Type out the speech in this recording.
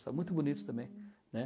Está muito bonito também. Hm. Né?